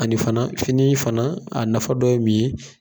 Ani fana fini fana a nafa dɔ ye mun ye?